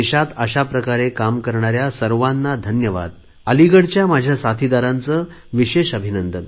देशात अशाप्रकारे काम करणाऱ्या सर्वांना धन्यवाद अलिगडच्या माझ्या साथीदारांचे विशेष अभिनंदन